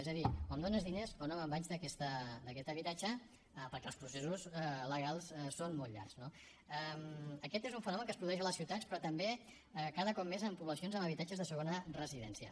és a dir o em dones diners o no me’n vaig d’aquest habitatge perquè els processos legals són molt llargs no aquest és un fenomen que es produeix a les ciutats però també cada cop més en poblacions amb habitatges de segona residència